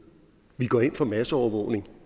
vi går ind for masseovervågning